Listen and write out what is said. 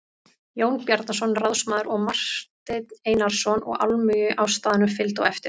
Jón Bjarnason ráðsmaður og Marteinn Einarsson og almúgi á staðnum fylgdi á eftir.